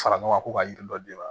Fara ɲɔgɔn kan ko ka yiri dɔ d'e ma